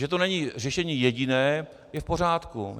Že to není řešení jediné, je v pořádku.